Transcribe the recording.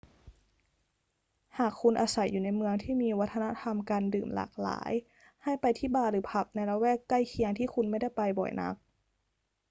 หากคุณอาศัยอยู่ในเมืองที่มีวัฒนธรรมการดื่มหลากหลาย ให้ไปที่บาร์หรือผับในละแวกใกล้เคียงที่คุณไม่ได้ไปบ่อยนัก